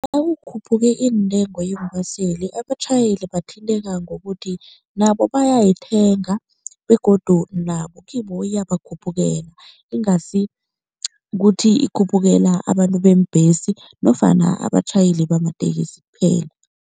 Nakukhuphuke iintengo yeembaseli abatjhayeli bathinteka ngokuthi nabo bayayithenga begodu nabo kibo iyabakhuphukela, ingasi kuthi ikhuphukela abantu beembhesi nofana abatjhayeli bamatekisi kuphela.